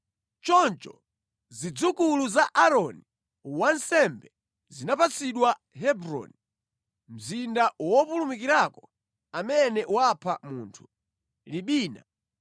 Choncho zidzukulu za Aaroni wansembe, zinapatsidwa Hebroni (mzinda wopulumukirako amene wapha munthu), Libina,